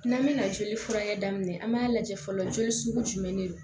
N'an bɛna joli furakɛ daminɛ an b'a lajɛ fɔlɔ joli sugu jumɛn de don